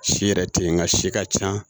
Si yɛrɛ tɛ yen nka si ka ca